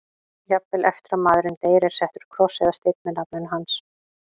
Jafnvel eftir að maðurinn deyr er settur kross eða steinn með nafninu hans.